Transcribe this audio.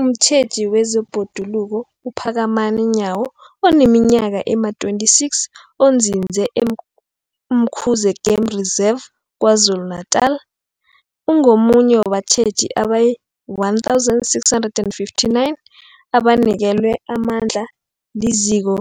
Umtjheji wezeBhoduluko uPhakamani Nyawo oneminyaka ema-26, onzinze e-Umkhuze Game Reserve KwaZulu-Natala, ungomunye wabatjheji abayi-1 659 abanikelwe amandla liZiko